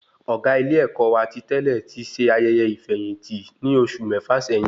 Ọgá ilé-èkó wà ti tẹlẹ ti ṣe ayẹyẹ ifeyinti ní oṣù mẹfa sẹyìn